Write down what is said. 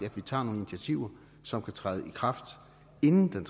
at vi tager nogle initiativer som kan træde i kraft inden den